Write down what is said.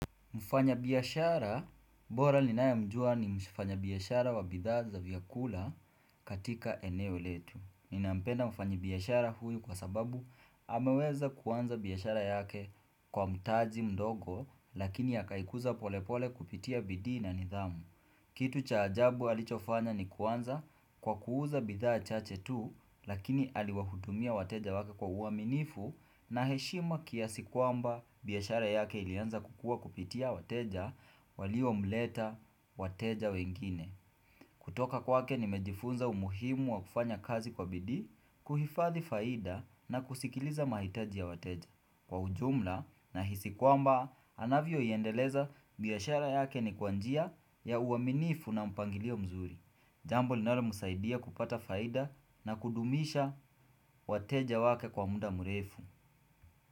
Mfanya biashara, bora ninaye mjua ni mfanya biashara wa bidhaa za vyakula katika eneo letu. Ninampenda mfanyi biashara huyu kwa sababu ameweza kuanza biashara yake kwa mtaji mdogo lakini akaikuza pole pole kupitia bidii na nidhamu. Kitu cha ajabu alichofanya ni kuanza kwa kuuza bidhaa chache tu lakini aliwahudumia wateja wake kwa uaminifu na heshima kiasi kwamba biashara yake ilianza kukua kupitia wateja walio mleta wateja wengine. Kutoka kwake nimejifunza umuhimu wa kufanya kazi kwa bidii, kuhifathi faida na kusikiliza mahitaji ya wateja. Kwa ujumla nahisi kwamba, anavyo iendeleza biashara yake ni kwa njia ya uaminifu na mpangilio mzuri. Jambo linalo msaidia kupata faida na kudumisha wateja wake kwa mda mrefu.